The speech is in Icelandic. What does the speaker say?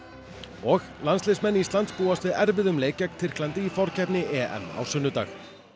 og landsliðsmenn Íslands búast við erfiðum leik gegn Tyrklandi í forkeppni EM á sunnudag